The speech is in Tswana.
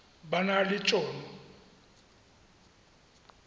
ba na le t hono